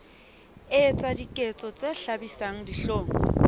etsa diketso tse hlabisang dihlong